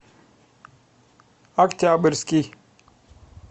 октябрьский